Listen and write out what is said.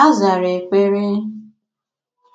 A zàrà èkpere